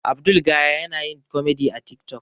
Abdul gaya yana yin komedi a tik tok